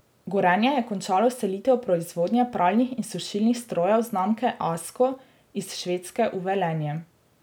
Gorenje je končalo selitev proizvodnje pralnih in sušilnih strojev znamke Asko iz Švedske v Velenje.